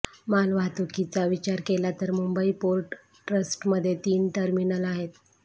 मालवाहतुकीचा विचार केला तर मुंबई पोर्ट ट्रस्टमध्ये तीन टर्मिनल आहेत